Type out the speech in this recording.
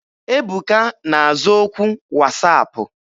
Ebuka na-aza okwu wasaapụ.